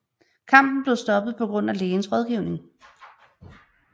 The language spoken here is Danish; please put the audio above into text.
Kampen blev stoppet på grund af lægens rådgivning